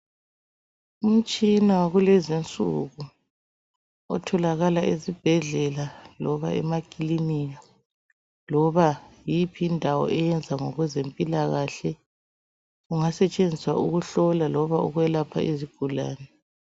Umtshina wakulezi insuku otholakala ezibhedlela loba emakilinika, loba yiphi indawo eyenza ngokwezempilakahle. Ungasetshenziswa ukuhlola loba ukwelapha izigulane.